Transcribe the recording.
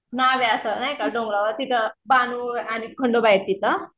नाव आहे असं नाही का डोंगरावर असं तिथं बानू आणि खंडोबा आहे तिथं.